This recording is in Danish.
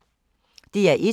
DR1